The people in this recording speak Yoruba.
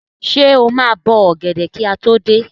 Ṣé o máa bọ ọ̀gẹ̀dẹ̀ kí a tó dé?